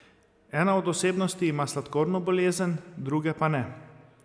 Ena od osebnosti ima sladkorno bolezen, druge pa ne.